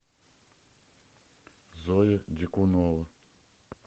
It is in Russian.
зоя дикунова